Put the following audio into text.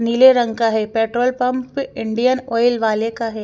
नीले रंग का है पेट्रोल पम्प इंडियन ऑइल वाले का है।